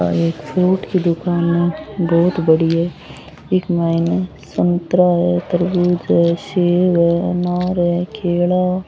आ एक फ्रूट की दुकान है बहोत बड़ी है इक मायने संतरा है तरबूज है सेव है अनार है केला --